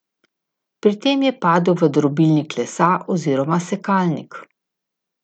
Pri tem je padel v drobilnik lesa oziroma sekalnik.